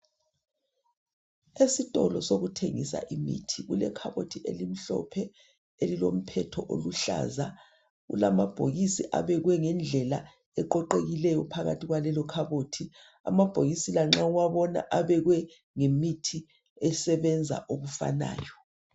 Esitolo sokuthengisa imithi kulekhabothi elimhlophe elilomphetho oluhlaza .Kulamabhokisi abekwe ngendlela eqoqekileyo phakathi kwekhabothi. Amabhokisi la nxa uwabona abekwe ngemithi esebenza okufanayo.